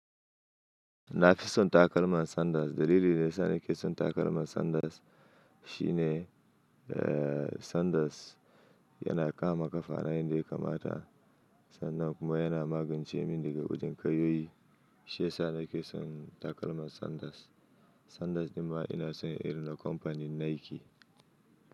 Na fi son takalman Sanders. Dalili da yasa nake son takalman Sanders shine, eh, Sanders yana kama kafa na yan da ya kamata. Sannan kuma yana magance min daga wajen kayoyi. Shi ya sa nake son takalman Sanders. Sanders nima ina son yin irin na kamfanin Nike.